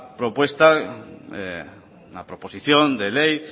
proposición de ley